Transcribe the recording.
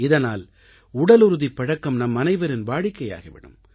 இதனால் உடலுறுதிப் பழக்கம் நம்மனைவரின் வாடிக்கையாகி விடும்